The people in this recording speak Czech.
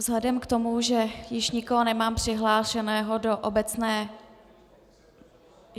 Vzhledem k tomu, že již nikoho nemám přihlášeného do obecné...